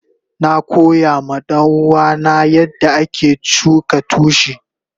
Na koya ma danuwa na yanda ake shuka tushi.